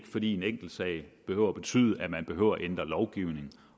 fordi en enkeltsag behøver at betyde at man behøver at ændre lovgivningen